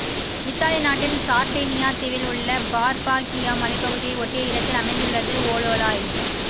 Italy நாட்டின் Sardinia தீவில் உள்ள பார்பாகியா மலைப்பகுதியை ஒட்டிய இடத்தில் அமைந்துள்ளது ஓலோலாய்